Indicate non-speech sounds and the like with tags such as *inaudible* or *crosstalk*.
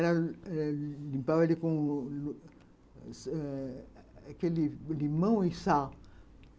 *unintelligible* Limpava ele *unintelligible* eh com limão *unintelligible* e sal.